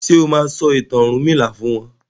ṣe o ma sọ ìtàn ọrunmila fún wón?